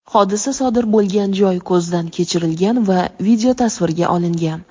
hodisa sodir bo‘lgan joy ko‘zdan kechirilgan va videotasvirga olingan.